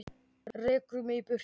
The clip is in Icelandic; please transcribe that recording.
Rekur mig í burtu?